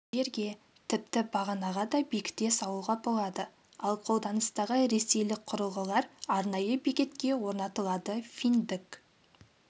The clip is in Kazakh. жерге тіпті бағанаға да бекіте салуға болады ал қолданыстағы ресейлік құрылғылар арнайы бекетке орнатылады финдік